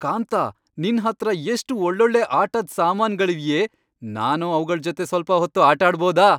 ಕಾಂತಾ, ನಿನ್ಹತ್ರ ಎಷ್ಟ್ ಒಳ್ಳೊಳ್ಳೆ ಆಟದ್ ಸಾಮಾನ್ಗಳಿವ್ಯೇ. ನಾನು ಅವ್ಗಳ್ ಜೊತೆ ಸ್ವಲ್ಪ ಹೊತ್ತು ಆಟಾಡ್ಬೋದ?